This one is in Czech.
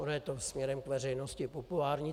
Ono je to směrem k veřejnosti populární.